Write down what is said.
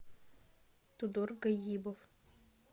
тудор гаибов